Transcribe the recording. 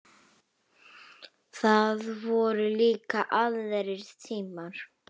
Það voru líka aðrir tímar.